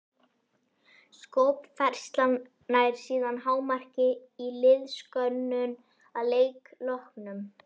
Skopfærslan nær síðan hámarki í liðskönnun að leik loknum.